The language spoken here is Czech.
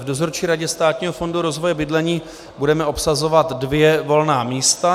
V Dozorčí radě Státního fondu rozvoje bydlení budeme obsazovat dvě volná místa.